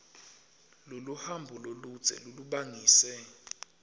loluhambo loludze lolubangise